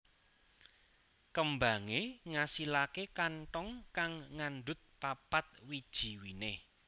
Kembangé ngasilaké kanthong kang ngandhut papat wiji winih